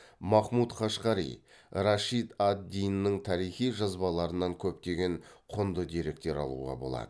махмұд қашқари рашид ад диннің тарихи жазбаларынан көптеген құнды деректер алуға болады